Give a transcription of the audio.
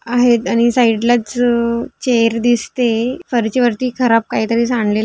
आहेत आणि साइड लाच चेअर दिसते खुर्ची वरती खराब काही तरी सांडलेल --